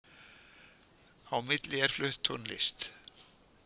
Á milli er flutt tónlist